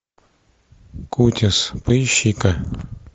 кутис поищи ка